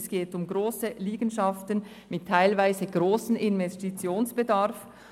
Es geht um grosse Liegenschaften mit teilweise grossem Investitionsbedarf.